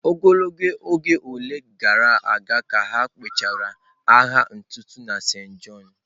Ogologo oge ole gara aga ka ha gwụchara agha ntụte na Saint John?